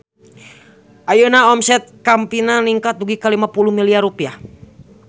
Ayeuna omset Campina ningkat dugi ka 50 miliar rupiah